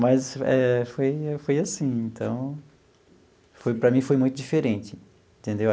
Mas eh foi foi assim, então, foi para mim foi muito diferente, entendeu?